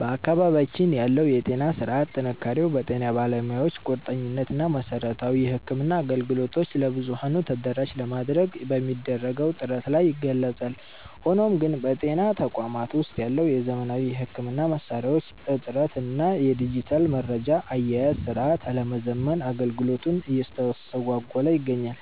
በአካባቢያችን ያለው የጤና ሥርዓት ጥንካሬው በጤና ባለሙያዎቹ ቁርጠኝነት እና መሠረታዊ የሕክምና አገልግሎቶችን ለብዙኃኑ ተደራሽ ለማድረግ በሚደረገው ጥረት ላይ ይገለጻል። ሆኖም ግን፣ በጤና ተቋማት ውስጥ ያለው የዘመናዊ ሕክምና መሣሪያዎች እጥረት እና የዲጂታል መረጃ አያያዝ ሥርዓት አለመዘመን አገልግሎቱን እያስተጓጎለ ይገኛል።